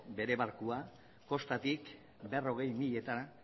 bere barkua kostatik berrogei miletara